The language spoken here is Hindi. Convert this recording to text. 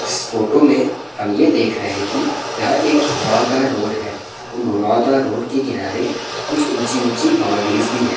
इस फोटो में हम ये देख रहे हैं की यहाँ एक घुमावदार रोड है उन घुमावदार रोड के किनारे कुछ ऊँची ऊँची बाउंड्रीइज भी हैं ।